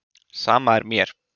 Sama er mér.